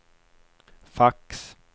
fax